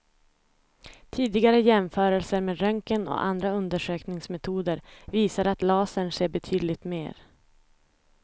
Tidigare jämförelser med röntgen och andra undersökningsmetoder visar att lasern ser betydligt mer.